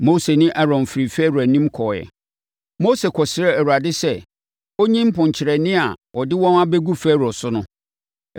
Mose ne Aaron firii Farao anim kɔeɛ. Mose kɔsrɛɛ Awurade sɛ ɔnyi mponkyerɛne a ɔde wɔn abɛgu Farao so no.